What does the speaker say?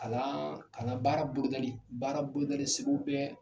Kalan kalan baara bolodali, baara bolodali sigiw bɛ